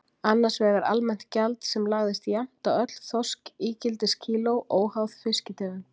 Annars vegar almennt gjald sem lagðist jafnt á öll þorskígildiskíló, óháð fiskitegund.